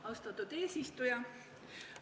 Austatud eesistuja!